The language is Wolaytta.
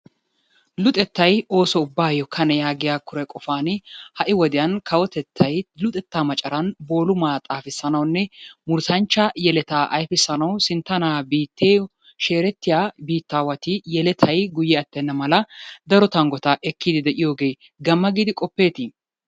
Luxettay ooso ubbaayyo kane yagiya kure qofan ha'i wodiyan kawotettay luxettaa macaran boolumaa xaafissanawunne murutanchcha yeletaa ayifissanawu sinttanaa biittiyo sheerettiya biittaawati yeletay guyye attenna mala daro tanggota ekkiiddi de'iyogee gamma giidi qoppeetii?